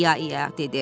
ia-ia dedi.